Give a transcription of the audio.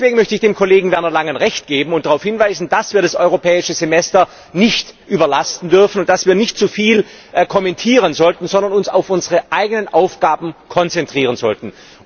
Deswegen möchte ich dem Kollegen Werner Langen Recht geben und darauf hinweisen, dass wir das Europäische Semester nicht überlasten dürfen und dass wir nicht zu viel kommentieren sollten, sondern uns auf unsere eigenen Aufgaben konzentrieren sollten.